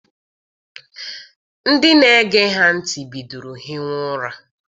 Ndị na-ege ha ntị bidoro hiwa ụra.